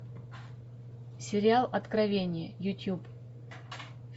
сериал откровение ютуб